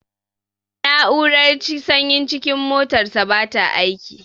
Na'urar sanyin cikin motarsa bata aiki.